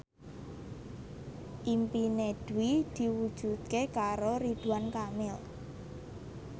impine Dwi diwujudke karo Ridwan Kamil